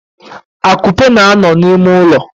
Akupe na-ano n'ime ulo.